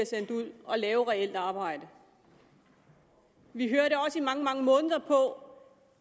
sendt ud og lave reelt arbejde vi hørte også i mange mange måneder på